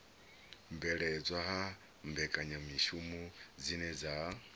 bveledzwa ha mbekanyamishumo dzine dza